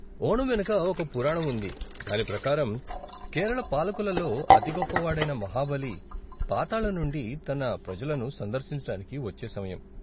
ఓణం వెనక ఒక పురాణం ఉంది, దాని ప్రకారం, కేరళ పాలకులలో అతిగొప్ప వాడైన మాహబలి, పాతాళం నుండి తన ప్రజలను సందర్శించటానికి వచ్చే సమయం.